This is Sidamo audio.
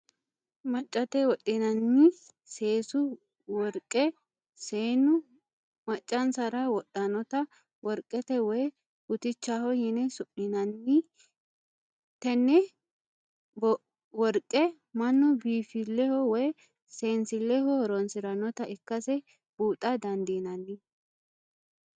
Machate wodhinanni seesu woriqe, seenu ma'chansara wodhanotta woriqete woyi butichaho yine suminanni tenebworiqe manu biinfileho woyi see'nsileho horonsiranotta ikkase buuxxa dandinanni